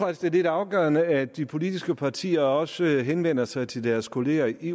at det er lidt afgørende at de politiske partier også henvender sig til deres kollegaer i